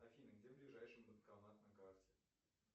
афина где ближайший банкомат на карте